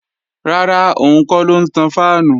Rárá, òun kọ́ ló ń tan fáànù